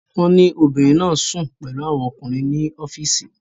Wọ́n ní obìnrin náà sùn pẹ̀lú àwọn ọkùnrin ní ọ́fíìsì